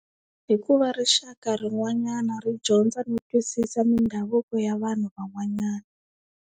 Hikuva rixaka rin'wanyana ri dyondza no twisisa mindhavuko ya vanhu van'wanyana.